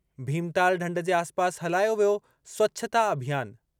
भीमताल ढंढ जे आसिपासि हलायो वियो स्वच्छता अभियान।